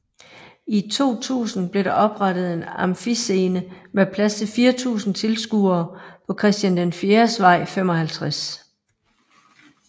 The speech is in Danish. I 2000 blev der oprettet en Amfiscene med plads til 4000 tilskuere på Christian IVs Vej 55